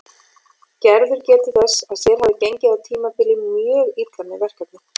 Gerður getur þess að sér hafi gengið á tímabili mjög illa með verkefnið.